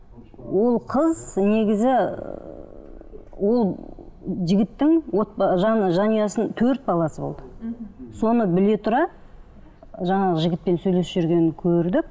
ол қыз негізі ыыы ол жігіттің жанұясын төрт баласы болды соны біле тұра жаңағы жігітпен сөйлесіп жүргенін көрдік